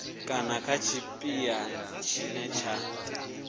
kana kha tshipiḓa tshine tsha